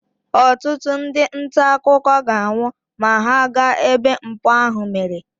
ọtụtụ ndị nta akụkọ ga-anwụ ma ha gaa ebe mpụ ahụ mere